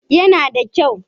Yana da kyau?